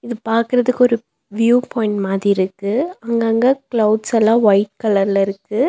இது பாக்கறதுக்கு ஒரு வியூ பாயிண்ட் மாதி இருக்கு அங்கங்க கிளவ்ட்ஸ்ஸெல்லா ஒயிட் கலர்ல இருக்கு.